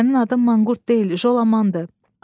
Sənin adın manqurt deyil, Jolamandır.